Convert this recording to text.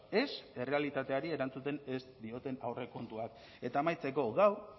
ez errealitateari erantzuten ez dioten aurrekontuak eta amaitzeko gaur